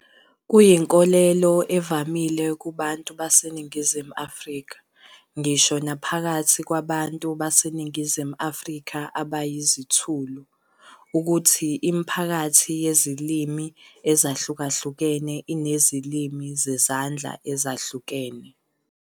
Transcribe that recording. Kuyinkolelo evamile kubantu baseNingizimu Afrika, ngisho naphakathi kwabantu baseNingizimu Afrika abayizithulu, ukuthi imiphakathi yezilimi ezahlukahlukene inezilimi zezandla ezehlukene.